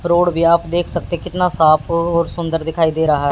road भी आप देख सकते है कितना साफ और सुंदर दिखाई दे रहा--